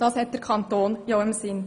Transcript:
Das hat der Kanton ja im Sinn.